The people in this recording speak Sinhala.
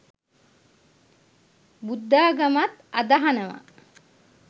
බුද්ධාගමත් අදහනව